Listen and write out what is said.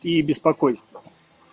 и беспокойство